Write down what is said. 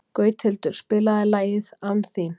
Gauthildur, spilaðu lagið „Án þín“.